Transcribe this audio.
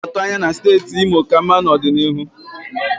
Ana m atụ anya na steeti Imo ka mma n'ọdịnihu.